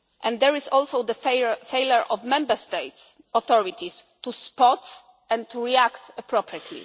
is not true. There is also the failure of Member States' authorities to spot this and to react